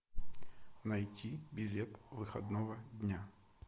найти билет выходного дня